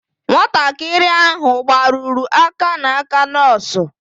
Nwatakịrị ahụ gbarụrụ aka n'aka nọọsụ.